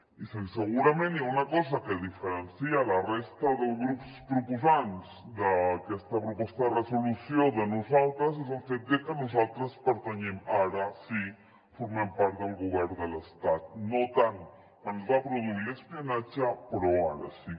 i segurament hi ha una cosa que diferencia la resta dels grups proposants d’aquesta proposta de resolució de nosaltres és el fet que nosaltres pertanyem ara sí formem part del govern de l’estat no tant quan es va produir l’espionatge però ara sí